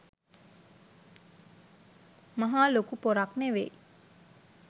මහා ලොකු පොරක් නෙවෙයි.